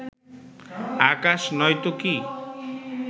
আকাশ নয়তো কী